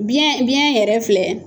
Biyɛn biyɛn yɛrɛ filɛ